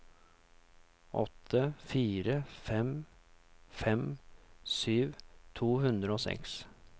åtte fire fem fem sytti to hundre og seks